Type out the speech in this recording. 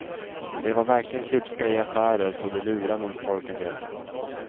De var verkligen klipska i affärer så de lurade nog folk en del.